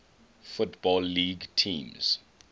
football league teams